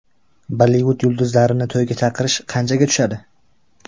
Bollivud yulduzlarini to‘yga chaqirish qanchaga tushadi?.